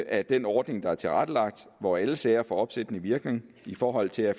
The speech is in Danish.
at den ordning der er tilrettelagt hvor alle sager får opsættende virkning i forhold til at